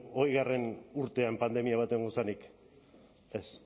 hogeigarrena urtean pandemia bat egon zenik ez